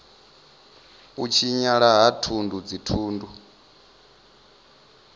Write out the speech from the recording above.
u tshinyala ha thundu dzithundu